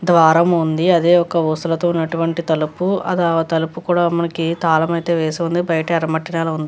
ద్వారం ఉంది అది ఒక ఊసలతో ఉన్నటువంటి తలుపు ఆ తలుపు కూడా మనకి తాలము అయితే వేసి ఉంది బయట యెర్ర మట్టి నెల ఉంది.